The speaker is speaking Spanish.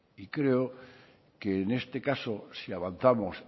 y creo que en este caso si avanzamos